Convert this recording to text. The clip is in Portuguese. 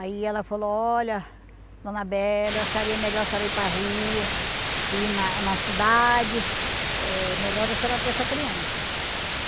Aí ela falou, olha, dona Bela, eu acharia melhor ir para a rua para rua, ir na na cidade, é melhor a senhora ter essa criança.